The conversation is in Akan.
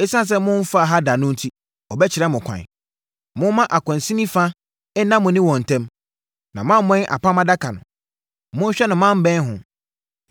Esiane sɛ momfaa ha da no enti, wɔbɛkyerɛ mo ɛkwan. Momma akwansini fa nna mo ne wɔn ntam, na moammɛn Apam Adaka no. Monhwɛ na moammɛn ho.”